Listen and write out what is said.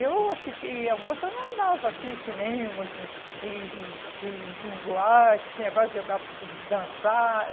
Eu fiquei uma moça, eu não andava, assim, em cinema assim e em em em em boate, assim, esse negócio de jogar, de dançar.